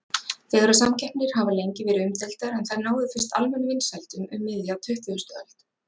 Fegurðarsamkeppnir hafa lengi verið umdeildar en þær náðu fyrst almennum vinsældum um miðja tuttugustu öld.